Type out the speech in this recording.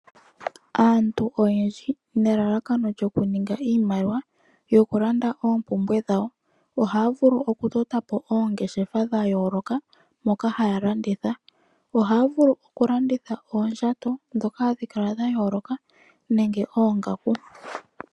Aantu oyendji nelalakano lyoku ninga iimaliwa, opo yi ikongele oompumbwe dhawo, ohaya vulu okutota oongeshefa mono haya landitha oondjato ndhoka hadhi kala dha yooloka nenge oongaku.